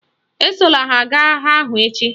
Esola ha gaa agha ahụ echi!